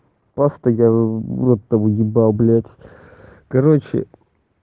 просто я в рот того ебал блять короче